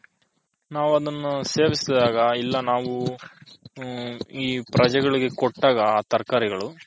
ನಾವು ಅದನು ಸೇವಿಸಿದಾಗ ಇಲ್ಲ ನಾವು ಈ ಪ್ರಜೆಗಳಿಗೆ ಕೊಟ್ಟಾಗ ತರಕಾರಿಗಳು.